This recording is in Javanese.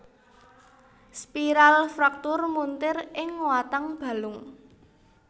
Spiral fraktur muntir ing watang balung